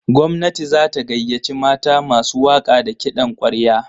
Gwamnati za ta gayyaci mata masu waƙa da kiɗan ƙwarya.